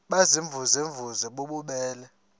baziimvuze mvuze bububele